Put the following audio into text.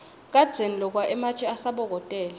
kadzeni lokwa ematje asabokotela